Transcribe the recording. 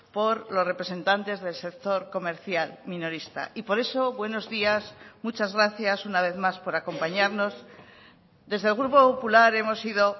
por los representantes del sector comercial minorista y por eso buenos días muchas gracias una vez más por acompañarnos desde el grupo popular hemos sido